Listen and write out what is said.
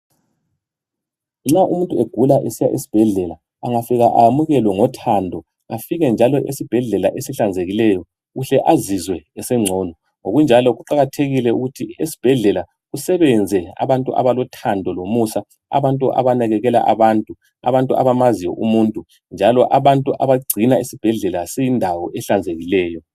nxa umuntu egula esiya esibhedlela engafika ayamukelwe ngothando afike njalo esibhedlela esihlanzekileyo uhle azizwe esencono ngokunjalo kuqakathekile ukuthi esibhedlela kusebenze abantu abalothando lomusa abantu abanakekela abantu abantu abamaziyo umuntu njalo abantu abagcina isibhedlela siyindawo ehlanzekileyo